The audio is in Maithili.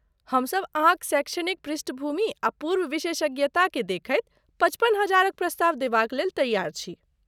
हमसब अहाँक शैक्षणिक पृष्ठभूमि आ पूर्व विशेषज्ञता केँ देखैत पचपन हजारक प्रस्ताव देबाक लेल तैयार छी।